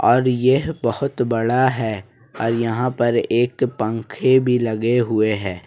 और यह बहुत बड़ा है और यहां पर एक पंखे भी लगे हुए है।